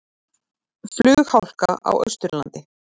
Flughálka á Austurlandi